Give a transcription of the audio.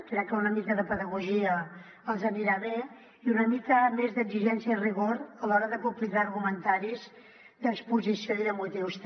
crec que una mica de pedagogia els anirà bé i una mica més d’exigència i rigor a l’hora de publicar argumentaris d’exposició i de motius també